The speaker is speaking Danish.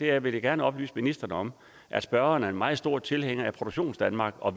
er vil jeg gerne oplyse ministeren om at spørgeren er en meget stor tilhænger af produktionsdanmark og